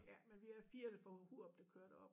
Ja men vi er 4 der fra Hurup der kører derop